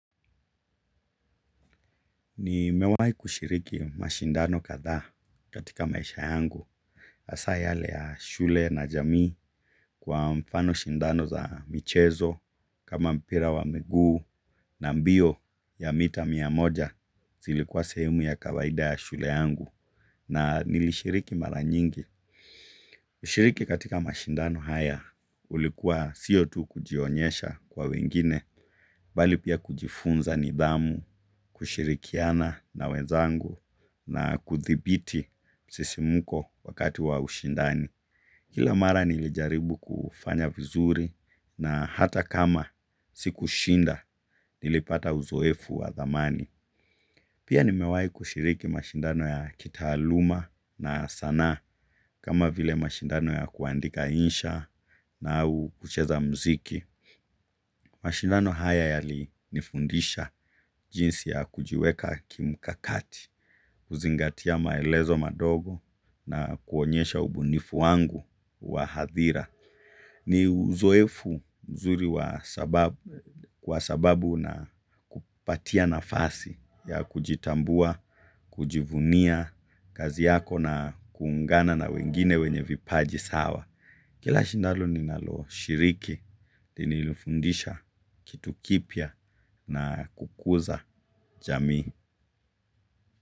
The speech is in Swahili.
Ni mewahi kushiriki mashindano kadhaa katika maisha yangu. Hasa yale ya shule na jamii kwa mfano shindano za michezo kama mpira wa miguu na mbio ya mita miamoja zilikuwa sehemu ya kawaida ya shule yangu. Na nilishiriki mara nyingi, ushiriki katika mashindano haya ulikuwa siotu kujionyesha kwa wengine, bali pia kujifunza nidhamu, kushirikiana na wezangu na kuthibiti msisi muko wakati wa ushindani. Kila mara nilijaribu kufanya vizuri na hata kama siku shinda nilipata uzoefu wa thamani. Pia nimewahi kushiriki mashindano ya kitaaluma na sanaa kama vile mashindano ya kuandika insha na au kucheza mziki. Mashindano haya yali nifundisha jinsi ya kujiweka kimkakati, kuzingatia maelezo madogo na kuonyesha ubunifu wangu wa hadhira. Ni uzoefu mzuri wa kwa sababu una kupatia nafasi ya kujitambua, kujivunia kazi yako na kuungana na wengine wenye vipaji sawa. Kila shindano ninaloshiriki linilifundisha kitu kipya na kukuza jamii.